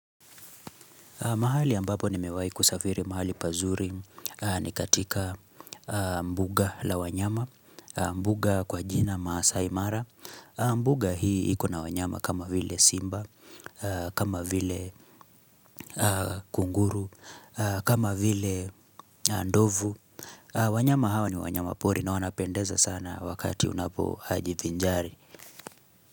Mahali ambapo nimewahi kusafiri mahali pazuri ni katika mbuga la wanyama, mbuga kwa jina maasai mara. Mbuga hii ikona wanyama kama vile Simba, kama vile Kunguru, kama vile Ndovu. Wanyama hawa ni wanyama pori na wanapendeza sana wakati unapo hajivinjari.